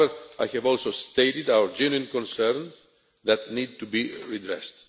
However, I have also stated our genuine concerns, that need to be redressed.